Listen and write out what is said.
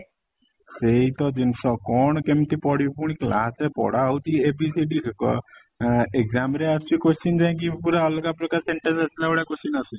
ସେଇ ତ ଜିନିଷ କ'ଣ କେମିତି ପଢିବ ପୁଣି class ରେ ପଢା ହଉଚି ABCD କ ଆ exam ରେ question ଯାଇକି ପୁରା ଅଲଗା ପ୍ରକାର sentence ଆସିଲା ଭଳିଆ question ଆସୁଛି